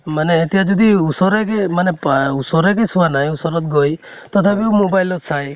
মানে এতিয়া যদি ওচৰে দি মানে ওচৰদি চোৱা নাই , ওচৰত গৈ, তথাপিও mobile ত চাই